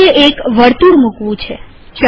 હવે મારે એક વર્તુળ મુકવું છે